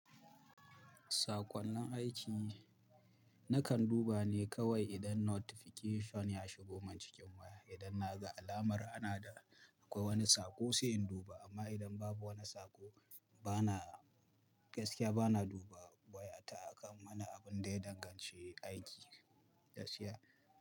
Saƙonnin aiki, nakan duba ne kawai idan notification ya shigo man cikin waya. Idan naga alamar ana da akwai wani saƙo sai in duba, amma idan babu wani saƙo bana gaskiya bana duba waya ta akan wani abun da ya danganci aiki gaskiya.